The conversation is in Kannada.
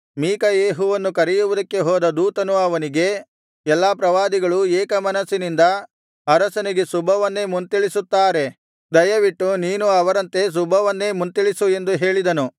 ಮೀಕಾಯೆಹುವನ್ನು ಕರೆಯುವುದಕ್ಕೆ ಹೋದ ದೂತನು ಅವನಿಗೆ ಎಲ್ಲಾ ಪ್ರವಾದಿಗಳೂ ಏಕ ಮನಸ್ಸಿನಿಂದ ಅರಸನಿಗೆ ಶುಭವನ್ನೇ ಮುಂತಿಳಿಸುತ್ತಾರೆ ದಯವಿಟ್ಟು ನೀನೂ ಅವರಂತೆ ಶುಭವನ್ನೇ ಮುಂತಿಳಿಸು ಎಂದು ಹೇಳಿದನು